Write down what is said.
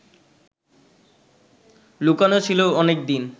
লুকোনো ছিল অনেকদিন